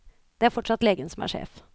Det er fortsatt legen som er sjef.